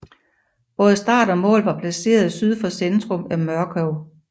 Både start og mål var placeret syd for centrum af Mørkøv